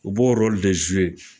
U b'o